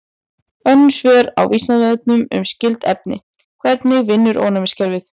Önnur svör á Vísindavefnum um skyld efni: Hvernig vinnur ónæmiskerfið?